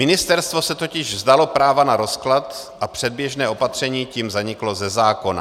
Ministerstvo se totiž vzdalo práva na rozklad a předběžné opatření tím zaniklo ze zákona.